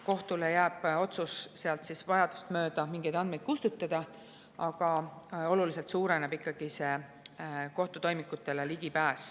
Kohtule jääb otsus sealt vajadust mööda mingeid andmeid kustutada, aga kohtutoimikutele ligipääs suureneb oluliselt.